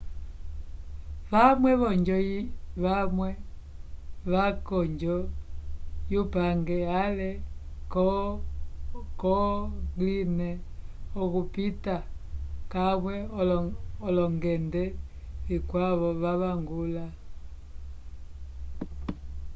vamwe vovanjo vamwe vaca konjo yupange ale ko online okupita kamwe olongende vikwavo vavangula